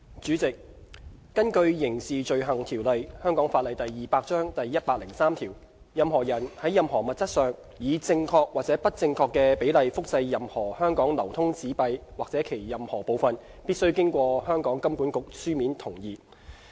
主席，根據《刑事罪行條例》第103條，任何人在任何物質上，以正確或不正確的比例複製任何香港流通紙幣或其任何部分，必須經香港金融管理局書面同意。